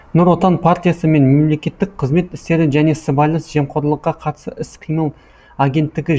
нұр отан партиясы мен мемлекеттік қызмет істері және сыбайлас жемқорлыққа қарсы іс қимыл агенттігі